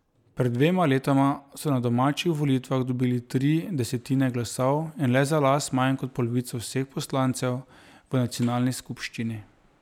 Pred dvema letoma so na domačih volitvah dobili tri desetine glasov in le za las manj kot polovico vseh poslancev v nacionalni skupščini.